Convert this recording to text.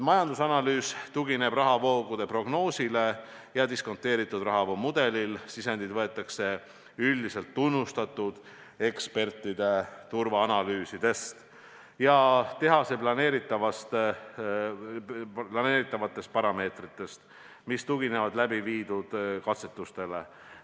Majandusanalüüs tugineb rahavoogude prognoosile ja diskonteeritud rahavoogude mudelile, sisendid võetakse üldiselt tunnustatud ekspertide turvaanalüüsidest ja tehase planeeritavatest parameetritest, mis tuginevad läbiviidud katsetustele.